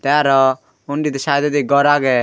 te aro undidi saidodi gor agey.